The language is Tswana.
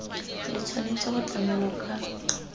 le tshwanetse go tlamelwa ka